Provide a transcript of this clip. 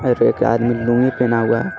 अर एक आदमी लूंगी पहना हुआ है ।